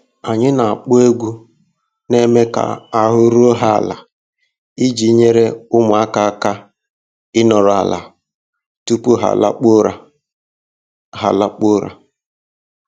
Anyị na-akpọ egwu na-eme ka ahụ́ ruo ha ala iji nyere ụmụaka aka ịnoru ala tupu ha alakpuo ụra. ha alakpuo ụra.